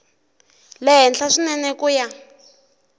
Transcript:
le henhla swinene ku ya